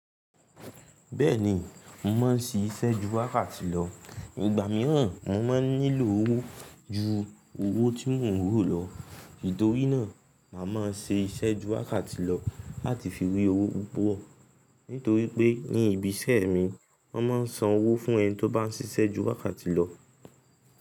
Bẹ́ẹ̀ni, mo máa ń siṣẹ́ ju wákàtì lọ. Ìgbà mìíràn mo máa nílò owó ju owó tí mò ń rò lọ. Nítorí náà, màá máa ṣe iṣẹ́ ju wákàtì lọ láti fi rí owó púpọ̀. Nítorí pé ní ibiṣẹ́ mi, wọ́n máa ń san owó fún ẹni tó bá ń ṣiṣẹ́ ju wákàtì lọ.